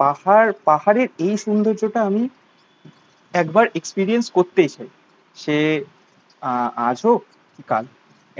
পাহাড় পাহাড়ের এই সুন্দর্য্য টা আমি একবার এক্সপেরিয়েন্স করতেই চাই। সে আহ আজ হোক কি কাল?